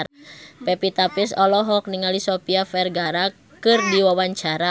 Pevita Pearce olohok ningali Sofia Vergara keur diwawancara